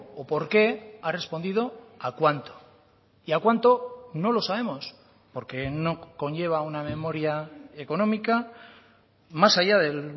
o por qué ha respondido a cuánto y a cuánto no lo sabemos porque no conlleva una memoria económica más allá del